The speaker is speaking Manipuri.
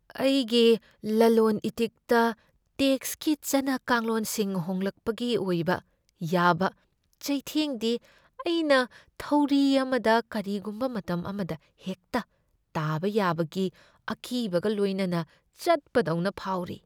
ꯑꯩꯒꯤ ꯂꯂꯣꯟ ꯏꯇꯤꯛꯇ ꯇꯦꯛꯁꯀꯤ ꯆꯠꯅ ꯀꯥꯡꯂꯣꯟꯁꯤꯡ ꯍꯣꯡꯂꯛꯄꯒꯤ ꯑꯣꯏꯕ ꯌꯥꯕ ꯆꯩꯊꯦꯡꯗꯤ ꯑꯩꯅ ꯊꯧꯔꯤ ꯑꯃꯗ ꯀꯔꯤꯒꯨꯝꯕ ꯃꯇꯝ ꯑꯃꯗ ꯍꯦꯛꯇ ꯇꯥꯕ ꯌꯥꯕꯒꯤ ꯑꯀꯤꯕꯒ ꯂꯣꯏꯅꯅ ꯆꯠꯄ ꯗꯧꯅ ꯐꯥꯎꯔꯤ꯫